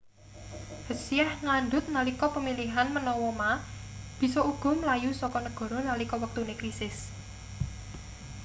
hsieh ngandhut nalika pemilihan menawa ma bisa uga mlayu saka negara nalika wektune krisis